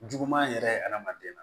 Juguman yɛrɛ ye hadamaden na